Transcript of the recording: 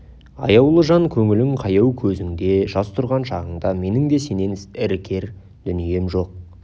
аяулы жан көңілің қаяу көзіңде жас тұрған шағыңда менің де сенен іркер дүнием жоқ